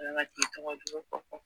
Wala k'i tɔgɔ jugu fɔ fɔ